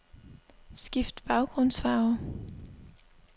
Skift baggrundsfarve.